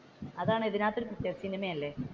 അതിനാണ് സിനിമയല്ലേ.